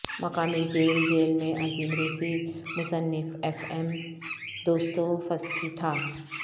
مقامی جیل جیل میں عظیم روسی مصنف ایف ایم دوستوفسکی تھا